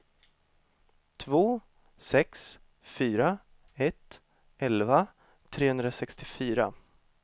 två sex fyra ett elva trehundrasextiofyra